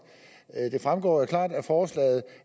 det fremgår jo klart af forslaget